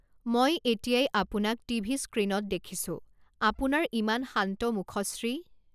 মই এতিয়াই আপোনাক টিভি স্ক্ৰিনত দেখিছো, আপোনাৰ ইমান শান্ত মুখশ্ৰী।